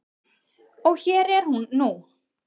Og hér er hún nú.